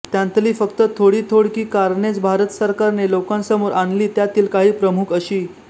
त्यांतली फक्त थोडी थोडकी कारणेच भारत सरकारने लोकांसमोर आणली त्यातील काही प्रमुख अशी